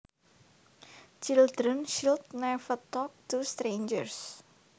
Children should never talk to strangers